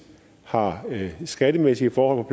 har de skattemæssige forhold